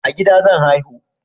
A gida zan haihu